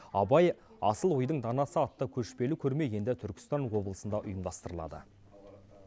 абай асыл ойдың данасы атты көшпелі көрме енді түркістан облысында ұйымдастырылады